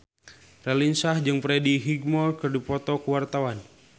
Raline Shah jeung Freddie Highmore keur dipoto ku wartawan